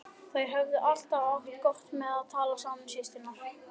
Þær höfðu alltaf átt gott með að tala saman systurnar.